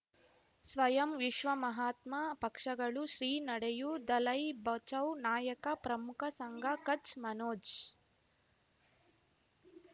ಸ್ವಯಂ ವಿಶ್ವ ಮಹಾತ್ಮ ಪಕ್ಷಗಳು ಶ್ರೀ ನಡೆಯೂ ದಲೈ ಬಚೌ ನಾಯಕ ಪ್ರಮುಖ ಸಂಘ ಕಚ್ ಮನೋಜ್